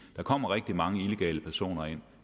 der kommer rigtig mange illegale personer ind